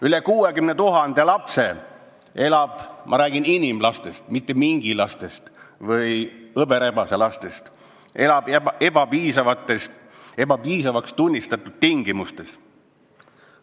Üle 60 000 lapse elab – ma räägin inimlastest, mitte mingi või hõberebase lastest – ebapiisavaks tunnistatud tingimustes.